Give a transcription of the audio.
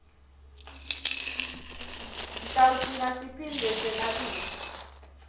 sitawugcina siphindze senabise